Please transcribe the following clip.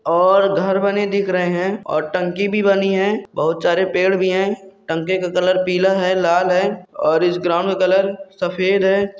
और घर बने दिख रहे है और टंकी भी बनी है बहुत सारे पेड़ भी है टंकी की कलर पिला है लाल है और इस ग्राउंड का कलर सफ़ेद है।